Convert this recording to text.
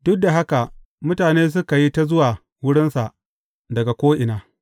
Duk da haka, mutane suka yi ta zuwa wurinsa daga ko’ina.